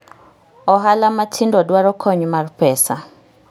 Ohala matindo dwaro kony mar pesa.